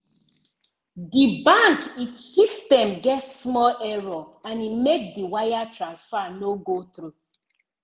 di bank it system get small error and e make the wire transfer no go through.